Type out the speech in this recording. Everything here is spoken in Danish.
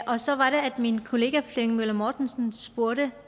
og så var det at min kollega herre flemming møller mortensen spurgte